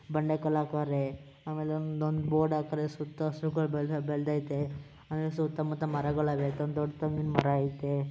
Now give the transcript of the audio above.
ಬಂಡೆ ಕಲ್ಲು ಹಾಕೋರೆ ಆಮೇಲೆ ಒಂದು ಬೋರ್ಡ್ ಹಾಕೋರೆ ಸುತ್ತ ಹಸಿರುಗಳು ಬೆಳ್ದೈತೆ ಆಮೇಲೆ ಸುತ್ತಮುತ್ತ ಮರಗಳಿವೆ ದೊಡ್ಡದೊಂದು ತೆಂಗಿನ ಮರ ಆಯ್ತೆ